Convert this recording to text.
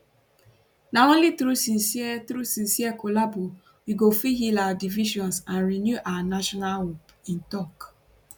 na only through sincere through sincere collabo we go fit heal our divisions and renew our national hope im tok